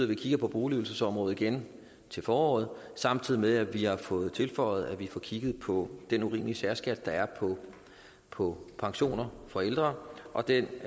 vi kigger på boligydelsesområdet igen til foråret samtidig med at vi har fået tilføjet at vi får kigget på den urimelige særskat der er på pensioner for ældre og den